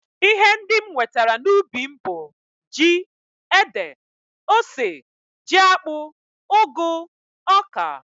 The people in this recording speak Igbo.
Ihe ndị m nwetara n'ubi m bụ ji, ede, ose, jiakpụ, ụgụ, oka